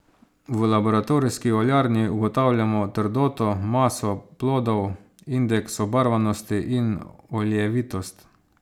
V laboratorijski oljarni ugotavljamo trdoto, maso plodov, indeks obarvanosti in oljevitost.